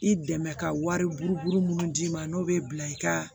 I dɛmɛ ka wari buruburu minnu d'i ma n'o bɛ bila i ka